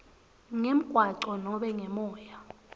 ngemgwaco nobe ngemoya